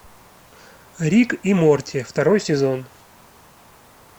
рик и морти второй сезон